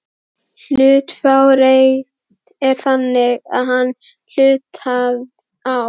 Hlutafjáreign er þannig að einn hluthafi á